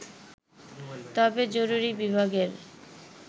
তবে জরুরি বিভাগের